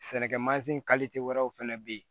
Sɛnɛkɛ mansin wɛrɛw fɛnɛ be yen